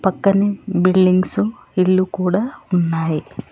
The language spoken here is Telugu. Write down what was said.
పక్కనే బిల్డింగ్స్ ఇల్లు కూడా ఉన్నాయి.